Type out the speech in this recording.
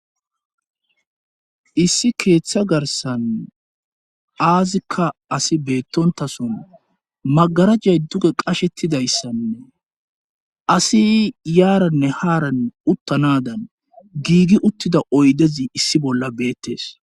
issi keeththa garsan aazikka asi beettontason magarajay duge qashettidayssanne asi yaaranne haaranne uttanadan giigi uttida oydezi issi bolla beettees